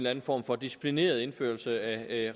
anden form for disciplineret indførelse af